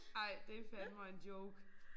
Ej det fandeme